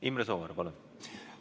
Imre Sooäär, palun!